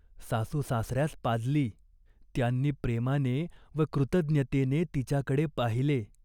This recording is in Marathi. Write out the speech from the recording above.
सासूसासऱ्यास पाजली. त्यांनी प्रेमाने व कृतज्ञतेने तिच्याकडे पाहिले.